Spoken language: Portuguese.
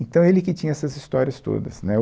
Então, ele que tinha essas histórias todas, né?